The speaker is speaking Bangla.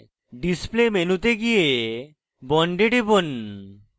display মেনুতে গিয়ে bond এ টিপুন